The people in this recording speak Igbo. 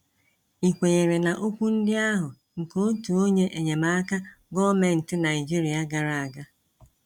Ị kwenyere na okwu ndị ahụ nke otu onye enyemaka gọọmentị Naịjirịa gara aga?